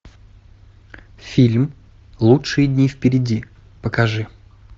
фильм лучшие дни впереди покажи